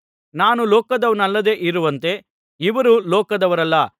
ನಾನು ಲೋಕದವನಲ್ಲದೆ ಇರುವಂತೆ ಇವರೂ ಲೋಕದವರಲ್ಲ